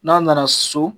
N'a nana so